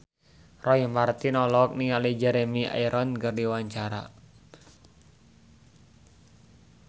Roy Marten olohok ningali Jeremy Irons keur diwawancara